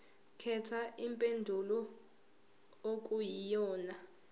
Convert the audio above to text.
khetha impendulo okuyiyona